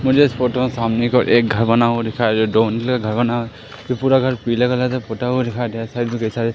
मुझे इस फोटो सामने को एक घर बना हुआ दिखाई दो नीले घर बना ये पूरा घर पीले कलर का पुता हुआ दिखाई दे रहा है साइड बे साइड --